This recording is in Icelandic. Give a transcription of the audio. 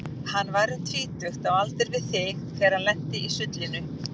Hann var um tvítugt, á aldur við þig, þegar hann lenti í sullinu.